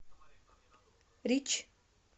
рич